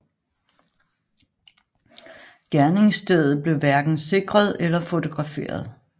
Gerningsstedet blev hverken sikret eller fotograferet